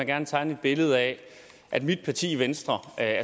gerne tegne et billede af at mit parti venstre er